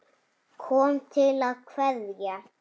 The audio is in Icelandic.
Kom til að kveðja.